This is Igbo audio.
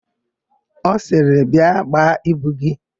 Ọ sịrị, "bịa gbaa ibu gị"!